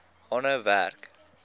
aanhou werk